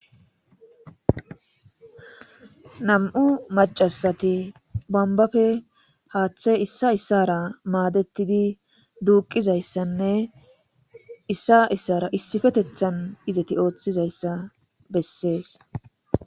Nam'u macashati hathe bombappe issa issara maadeti duuqizysanne issa issara issippetethani izeti oothizaysa besesi.